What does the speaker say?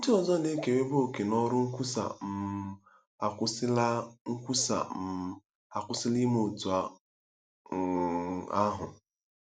Ndị ọzọ na-ekerebu òkè n'ọrụ nkwusa um akwụsịla nkwusa um akwụsịla ime otú um ahụ.